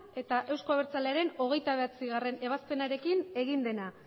eta euzko abertzalearen hogeita bederatzigarrena ebazpenarekin egin dena